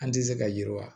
An tɛ se ka yiriwa